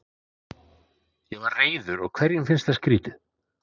Ég var reiður og hverjum finnst það skrýtið?